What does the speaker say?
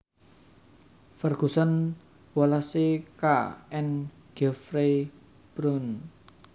Ferguson Wallace K and Geoffrey Bruun